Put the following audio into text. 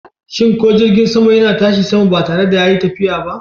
Shin ko jirgin sama yana tashi sama ba tare da yayi tafiya ba?